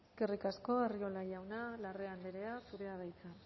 eskerrik asko arriola jauna larrea andrea zurea da hitza